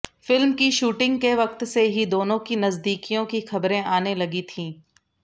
film की shooting के वक्त से ही दोनों की नजदीकियों की खबरें आने लगी थीं